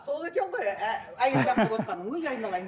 сол екен ғой өй айналайын